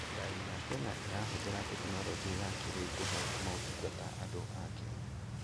Thirikari ya Kenya ĩrahũthĩra tekinoronjĩ ya kĩrĩu kũhe motungata andũ a Kenya.